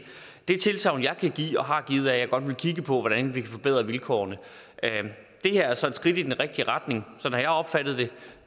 det tilsagn jeg kan give og har givet er at jeg godt vil kigge på hvordan vi kan forbedre vilkårene det her er så et skridt i den rigtige retning sådan har jeg opfattet